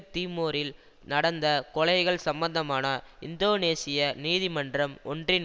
தீமோரில் நடந்த கொலைகள் சம்பந்தமான இந்தோனேசிய நீதிமன்றம் ஒன்றின்